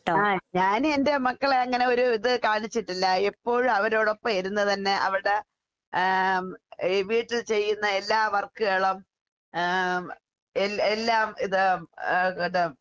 ആഹ് ഞാനുവെന്റെ മക്കളെ അങ്ങനെയൊരു ഇത് കാണിച്ചിട്ടില്ല. എപ്പോഴും അവരോടൊപ്പം ഇരുന്ന് തന്നെ അവര്ടെ ആഹ് ഈ വീട്ടിൽ ചെയ്യുന്ന എല്ലാ വർക്ക്കളും ആഹ് എൽ എല്ലാം ഇത് ആഹ് അത്